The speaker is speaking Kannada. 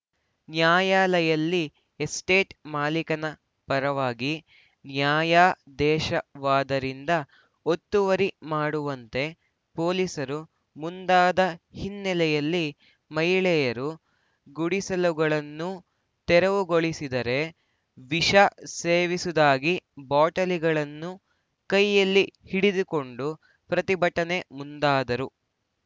ನ್ಯಾಯಾಲಯಲ್ಲಿ ಎಸ್ಟೇಟ್‌ ಮಾಲೀಕನ ಪರವಾಗಿ ನ್ಯಾಯಾದೇಶವಾದರಿಂದ ಒತ್ತುವರಿ ಮಾಡುವಂತೆ ಪೋಲಿಸರು ಮುಂದಾದ ಹಿನ್ನೆಲೆಯಲ್ಲಿ ಮಹಿಳೆಯರು ಗುಡಿಸಲುಗಳನ್ನು ತೆರವುಗೊಳಿಸಿದರೆ ವಿಷ ಸೇವಿಸುದಾಗಿ ಬಾಟಲಿಗಳನ್ನು ಕೈಯಲ್ಲಿ ಹಿಡಿದುಕೊಂಡ ಪ್ರತಿಭಟನೆ ಮುಂದಾದರು